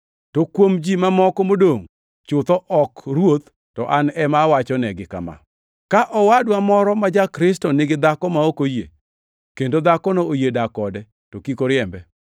To kuom ji mamoko modongʼ (chutho ok Ruoth, to an ema awachonegi) kama: Ka owadwa moro ma ja-Kristo nigi dhako ma ok oyie, kendo dhakono oyie dak kode, to kik oriembe.